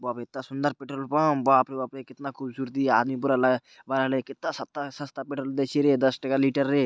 बाप रे इत्ता सुन्दर पेट्रोल पंप बाप रे बाप रे कितना खूबसूरती आदमी पूरा ल भराले कित्ता स- सस्ता पेट्रोल बेची रिये दस टका लीटर रे |